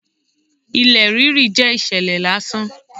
Ilẹ̀ rírú jẹ́ ìṣẹ̀lẹ̀ lásán.